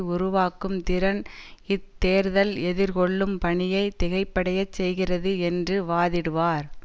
உருவாக்கும் திறன் இத்தேர்தல் எதிர்கொள்ளும் பணியை திகைப்படைய செய்கிறது என்று வாதிடுவார்